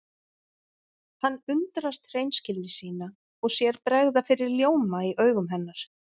Hann undrast hreinskilni sína og sér bregða fyrir ljóma í augum hennar.